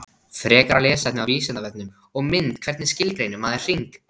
Frekara lesefni á Vísindavefnum og mynd Hvernig skilgreinir maður hring?